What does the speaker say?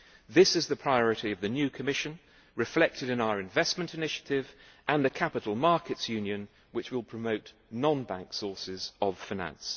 This is the priority of the new Commission, reflected in our investment initiative and the capital markets union, which will promote non bank sources of finance.